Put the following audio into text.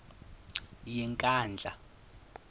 yenkandla